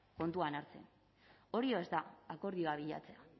kontuan hartzen hori ez da akordioa bilatzea